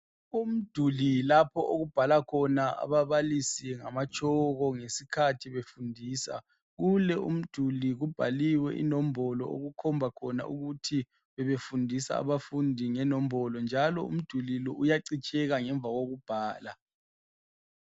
Umduli lapho okubhala khona ababalisi ngamatshoko ngesikhathi befundisa kulo umduli kubhaliwe inombolo okukhomba khona ukuthi bebefundisa abafundi ngenombolo njalo umduli lo uyacitsheka ngemva lokubhala.